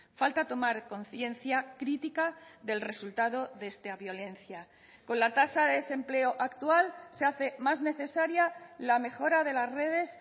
falta tomar conciencia crítica del resultado de esta violencia con la tasa de desempleo actual se hace más necesaria la mejora de las redes